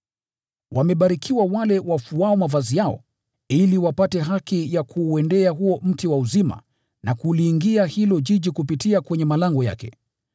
“Wamebarikiwa wale wafuao mavazi yao, ili wapate haki ya kuuendea huo mti wa uzima na kuuingia huo mji kupitia kwenye malango yake.